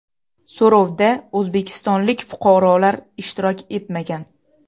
So‘rovda o‘zbekistonlik fuqarolar ishtirok etmagan.